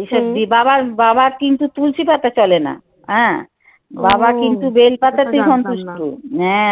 এইসব বাবার বাবার কিন্তু তুলসি পাতা চলে না হ্যাঁ বাবা কিন্তু বেল পাতাতেই হ্যাঁ